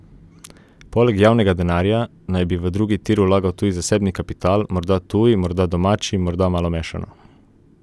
Poleg javnega denarja naj bi v drugi tir vlagal tudi zasebni kapital, morda tuji, morda domači, morda malo mešano.